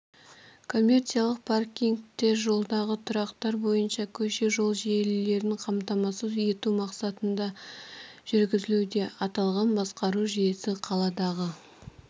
коммерциялық паркингтер жолдағы тұрақтар бойынша көше-жол желілерін қамтамасыз ету мақсатында жүргізілуде аталған басқару жүйесі қаладағы